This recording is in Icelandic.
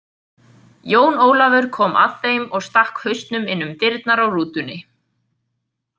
Jón Ólafur kom að þeim og stakk hausnum inn um dyrnar á rútunni.